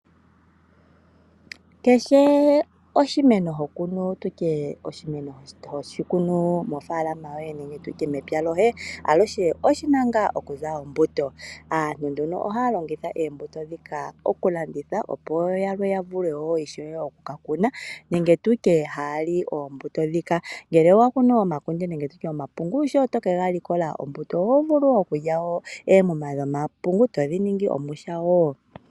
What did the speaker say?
Kehe oshimeno ho kunu mofaalama nenge mepya lyoye, aluhe oshi na ngaa okuza ombuto. Aantu ohaya longitha oombuto ndhika okulanditha, opo yalwe ya vule oku ka kuna. Ngele owa kunu omakunde nenge omapungu sho to ga likola oho vulu okulya oomuma dhomapungu to dhi ningi omwiha.